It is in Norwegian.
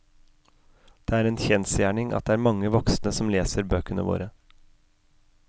Det er en kjensgjerning at det er mange voksne som leser bøkene våre.